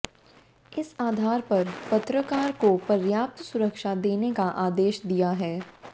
इस आधार पर पत्रकार को पर्याप्त सुरक्षा देने का आदेश दिया है